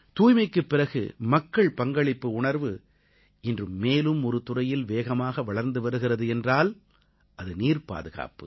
தூய்மைக்குப் பிறகு மக்கள் பங்களிப்பு உணர்வு இன்று மேலும் ஒரு துறையில் வேகமாக வளர்ந்து வருகிறது என்றால் அது நீர்ப் பாதுகாப்பு